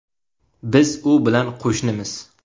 Biz u bilan qo‘shnimiz.